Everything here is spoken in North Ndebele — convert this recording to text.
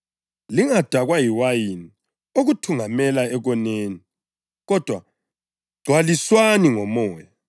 Lingadakwa liwayini okuthungamela ekoneni. Kodwa gcwaliswani ngoMoya,